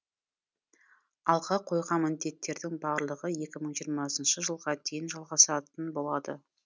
алға қойған міндеттердің барлығы екі мың жиырмасыншы жылға дейін жалғасатын болады